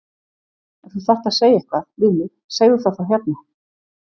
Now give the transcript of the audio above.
Ef þú þarft að segja eitthvað við mig segðu það þá hérna!